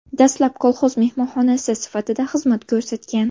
Dastlab, kolxoz mehmonxonasi sifatida xizmat ko‘rsatgan.